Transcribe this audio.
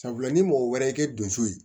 Sabula ni mɔgɔ wɛrɛ y'i don so ye